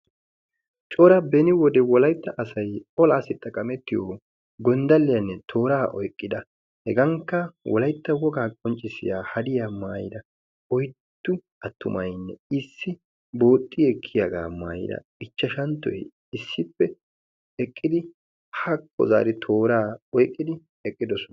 coora beni wode wolaitta asay olaa sixxaqamettiyo gonddaliyaanne tooraa oyqqida hegankka wolaytta wogaa qonccissiya hariya maayira oyttu attumaynne issi booxxi ekkiyaagaa maayira ichchashanttoy issippe eqqidi haqqo zaari tooraa oyqqidi eqqidosona.